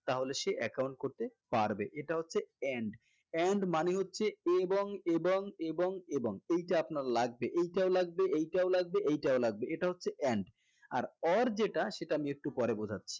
তাহলে সে account করতে পারবে এটা হচ্ছে and and মানে হচ্ছে এবং এবং এবং এবং এইটা আপনার লাগবে এইটাও লাগবে এইটাও লাগবে এইটাও লাগবে এটা হচ্ছে and আর or যেটা সেটা আমি একটু পরে বুঝাচ্ছি